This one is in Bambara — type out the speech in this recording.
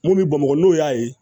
Mun bɛ bamakɔ n'o y'a ye